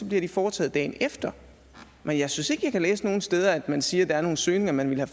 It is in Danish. bliver de foretaget dagen efter men jeg synes ikke jeg kan læse nogen steder at man siger at der er nogle søgninger man ville